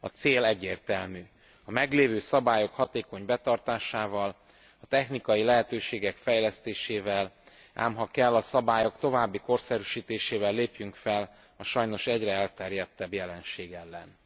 A cél egyértelmű a meglévő szabályok hatékony betartásával, a technikai lehetőségek fejlesztésével, ám ha kell, a szabályok további korszerűsítésével lépjünk fel a sajnos egyre elterjedtebb jelenség ellen.